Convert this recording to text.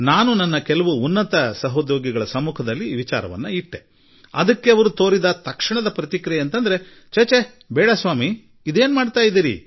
ನಾನು ನನ್ನ ಕೆಲವು ಹಿರಿಯ ಸಹೋದ್ಯೋಗಿಗಳ ಮುಂದೆ ಈ ವಿಷಯ ಪ್ರಸ್ತಾಪಿಸಿದಾಗ ಇಲ್ಲಾ ಇಲ್ಲಾ ಸಾರ್ ನೀವು ಹೀಗೇಕೆ ಮಾಡಲು ಹೊರಟಿದ್ದೀರಿ ಎಂಬುದೇ ಅವರ ಮೊದಲ ಪ್ರತಿಕ್ರಿಯೆಯಾಗಿತ್ತು